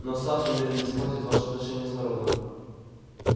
но сатт намерен испортить ваши отношения с народом